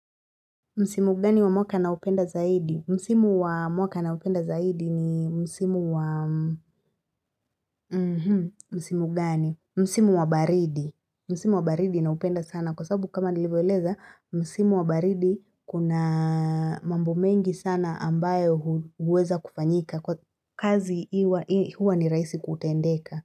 Msimu gani wa mwaka na upenda zaidi? Msimu wa mwaka na upenda zaidi ni msimu wa mmhh msimu gani? Msimu wa baridi. Msimu wa baridi na upenda sana. Kwa sababu kama nilivyo eleza, Msimu wa baridi kuna mambo mengi sana ambayo huweza kufanyika. Kwa kazi huwa ni rahisi kutendeka.